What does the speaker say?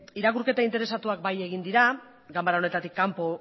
irakurketa interesatuak bai egin dira ganbara honetatik kanpo